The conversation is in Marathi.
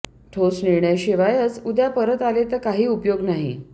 ठोस निर्णयशिवायच उद्या परत आले तर काही उपयोग नाही